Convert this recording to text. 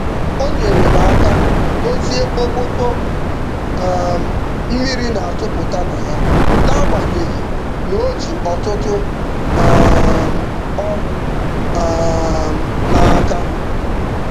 O nyere m aka dozie okpoko um mmiri na-atụpụta na ya n'agbanyeghị na o ji ọtụtụ um ọrụ um n'aka.